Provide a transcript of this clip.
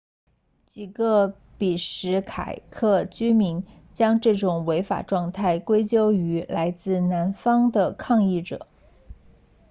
几个比什凯克居民将这种违法状态归咎于来自南方的抗议者